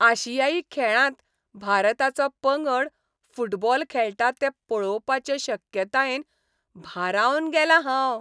आशियाई खेळांत भारताचो पंगड फुटबॉल खेळटा तें पळोवपाचे शक्यतायेन भारावन गेलां हांव.